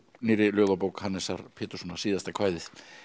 nýrri ljóðabók Hannesar Péturssonar síðasta kvæðið